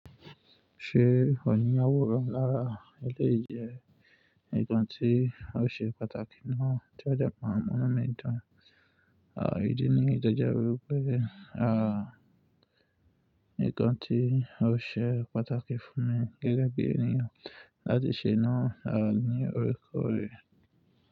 Ṣé ò ní aworan lára? Eléyìí jẹ nnkan tí a ó ṣe pàtàkì náà tí o dẹ máa n mu inu mi dun. Àwọn ìdí niyi to je wi pé, nnkan tí o ṣe pàtàkì fún mi gẹ́gẹ́ bí ènìyàn láti ṣe naa à ní oríkorẹ̀